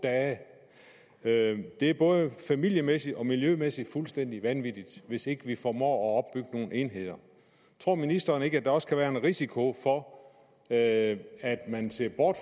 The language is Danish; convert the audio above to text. dage det er både familiemæssigt og miljømæssigt fuldstændig vanvittigt hvis ikke vi formår at opbygge nogle enheder tror ministeren ikke at der også kan være en risiko for at man ser bort